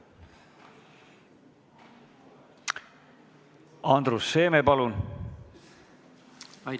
Andrus Seeme, palun!